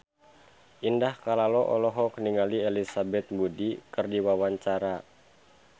Indah Kalalo olohok ningali Elizabeth Moody keur diwawancara